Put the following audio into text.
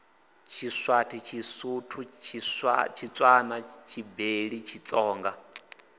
tshiswati tshisuthu tshitswana tshibeli tshitsonga